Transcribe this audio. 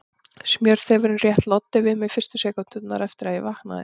Smjörþefurinn rétt loddi við mig fyrstu sekúndurnar eftir að ég vaknaði.